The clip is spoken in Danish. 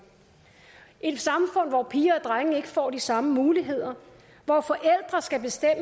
et samfund hvor piger og drenge ikke får de samme muligheder hvor forældre skal bestemme